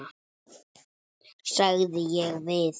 sagði ég við